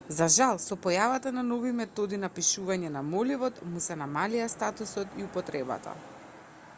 за жал со појавата на нови методи на пишување на моливот му се намалија статусот и употребата